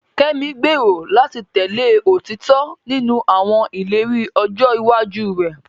Kemi gbèrò láti tẹ̀lé òtítọ́ nínú àwọn ìlérí ọjọ́ iwájú rẹ̀.